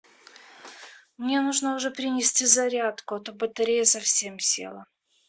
мне нужно уже принести зарядку а то батарея уже совсем села